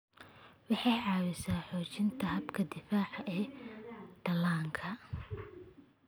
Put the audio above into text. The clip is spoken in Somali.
Waxay caawisaa xoojinta habka difaaca ee dhallaanka.